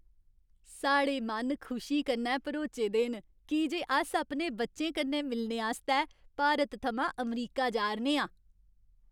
साढ़े मन खुशी कन्नै भरोचे दे न की जे अस अपने बच्चें कन्नै मिलने आस्तै भारत थमां अमरीका जा 'रने आं।